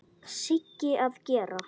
Sigga að gera?